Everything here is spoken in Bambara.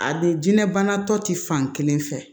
A de jɛn bana tɔ ti fan kelen fɛ